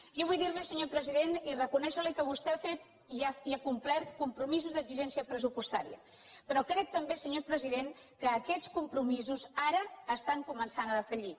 jo vull dir li senyor president i reconèixer li que vostè ha fet i ha complert compromisos d’exigència pressupostària però crec també senyor president que aquests compromisos ara comencen a defallir